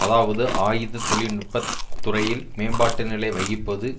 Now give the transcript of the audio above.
அதாவது ஆயுத தொழில்நுட்ப துறையில் மேம்பாட்டு நிலை வகிப்பது